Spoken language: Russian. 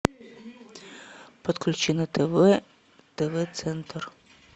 подключи на тв тв центр